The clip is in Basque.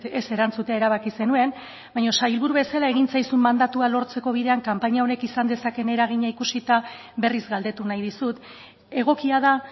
ez erantzutea erabaki zenuen baina sailburu bezala egin zaizun mandatua lortzeko bidean kanpaina honek izan dezakeen eragina ikusita berriz galdetu nahi dizut egokia da